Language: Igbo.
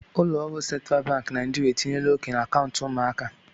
Ụlọ ọrụ Central Bank Naijiria etinyela oke na akaụntụ ụmụaka.